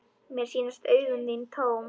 Mér sýnast augu þín tóm.